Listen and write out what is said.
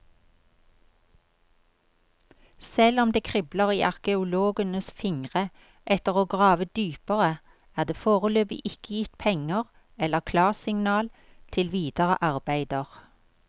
Selv om det kribler i arkeologenes fingre etter å grave dypere, er det foreløpig ikke gitt penger eller klarsignal til videre arbeider.